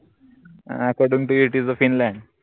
uh according toitisa Finland